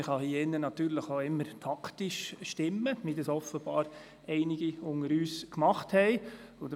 Sicher kann man hier im Saal auch immer taktisch abstimmen, wie es offenbar einige von uns gemacht haben.